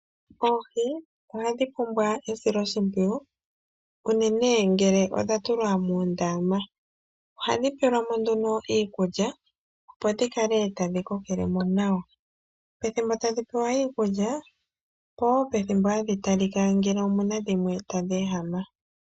Oohi ohadhi pumbwa esiloshipwiyu uunene ngele odha tulwa muundama , ohadhi pelwa mo nduno iikulya opo dhikale tadhi koke lemo nawa .Ethimbo tadhi pewa iikulya powo pethimbo hadhi tali lika ngele omuna dhimwe tadhi ehama.